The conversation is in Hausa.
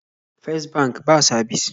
Fes bank ba sabis